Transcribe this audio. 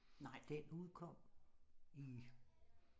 Nej den udkom i